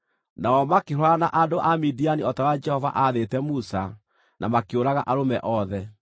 Nao makĩhũũrana na andũ a Midiani o ta ũrĩa Jehova aathĩte Musa, na makĩũraga arũme othe.